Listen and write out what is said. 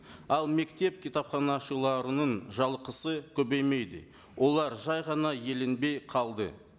ал мектеп кітапханашыларының жалақысы көбеймеді олар жай ғана еленбей қалды